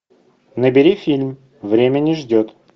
набери фильм время не ждет